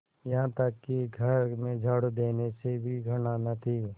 यहाँ तक कि घर में झाड़ू देने से भी घृणा न थी